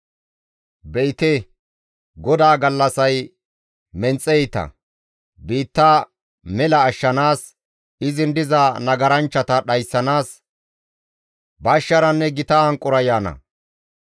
Be7ite GODAA gallassay menxe iita; biitta mela ashshanaas izin diza nagaranchchata dhayssanaas bashsharanne gita hanqora yaana.